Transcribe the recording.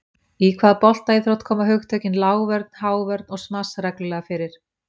Í hvaða boltaíþrótt koma hugtökin, lágvörn, hávörn og smass, reglulega fyrir?